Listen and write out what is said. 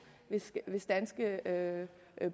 hvis danske